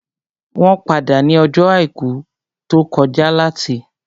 Wọ́n pàdé ní ọjọ́ àìkú tó kọjá láti